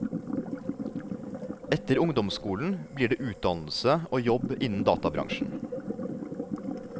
Etter ungdomsskolen blir det utdannelse og jobb innen databransjen.